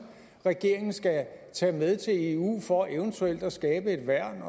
regeringen skal tage med til eu for eventuelt at skabe et værn